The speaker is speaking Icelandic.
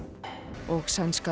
og sænska